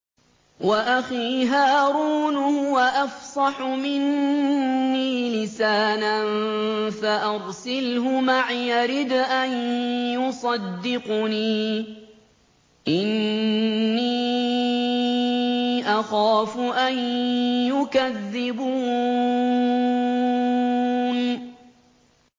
وَأَخِي هَارُونُ هُوَ أَفْصَحُ مِنِّي لِسَانًا فَأَرْسِلْهُ مَعِيَ رِدْءًا يُصَدِّقُنِي ۖ إِنِّي أَخَافُ أَن يُكَذِّبُونِ